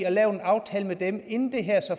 og lavet en aftale med dem inden det her så